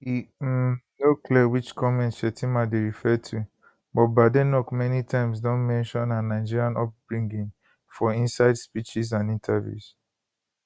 e um no clear which comments shettima dey refer to but badenoch many times don mention her nigerian upbringing for inside speeches and interviews